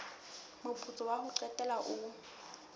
moputso wa ho qetela o